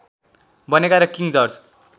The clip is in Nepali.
बनेका र किङ जर्ज